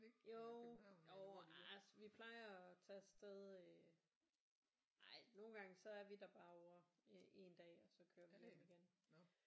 Jo jo altså vi plejer at tage af sted øh ej nogle gange så er vi der bare ovre i en dag og så kører vi hjem igen